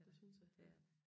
Det synes jeg det